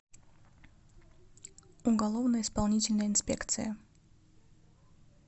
уголовно исполнительная инспекция